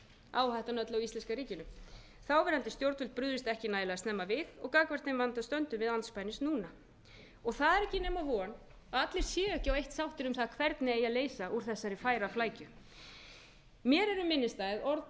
áhættan er öll á íslenska ríkinu þáverandi stjórnvöld brugðust ekki nægilega snemma við og gagnvart þeim vanda stöndum við andspænis núna það er ekki nema von að allir séu ekki á eitt sáttir um það hvernig eigi að leysa úr þessari færaflækju mér eru minnisstæð orð tékknesks mótmælanda sem